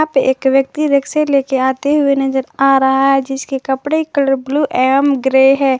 एक व्यक्ति रिक्शे लेके आते हुए नजर आ रहा है जिसके कपड़े कलर ब्लू एवं ग्रे है।